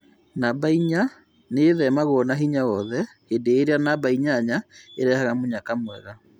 Namba inya nĩethemagwo na hinya wothe, hĩndĩ ĩrĩa namba inyanya ĩrehaga mũnyaka mwega